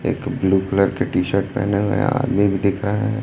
एक blue colour के T shirt पहने हुए आदमी भी दिख रहा है।